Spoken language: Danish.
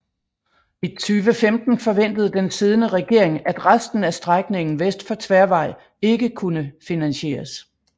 I 2015 forventede den siddende regering at resten af strækningen vest for Tværvej ikke kunne finansieres